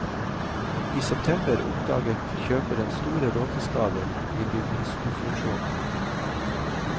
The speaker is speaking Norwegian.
I september oppdaget kjøperen store råteskader i bygningskonstruksjonen.